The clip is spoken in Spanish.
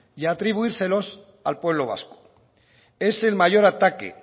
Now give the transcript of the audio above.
y atribuírselos al pueblo vasco es el mayor ataque